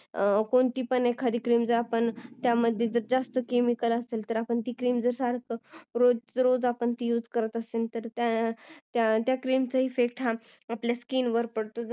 कोणती पण cream ज्यामध्ये जास्त cemicle असेल ती आपण जास्त वापरली रोजच्या रोज आपण ती use करत असेल तर त्या cream चा effect आपल्या skin वर पडतो जसे की